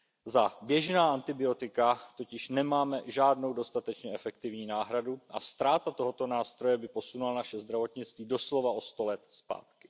Za běžná antibiotika totiž nemáme žádnou dostatečně efektivní náhradu a ztráta tohoto nástroje by posunula naše zdravotnictví doslova o sto let zpátky.